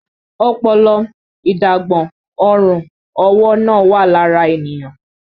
Ọpọlọ, agbọ̀n, ọrùn ọwọ́ náà wà lára ènìyàn